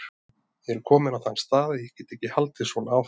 Ég er kominn á þann stað að ég get ekki haldið svona áfram.